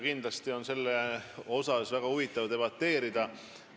Kindlasti on selle üle väga huvitav debateerida.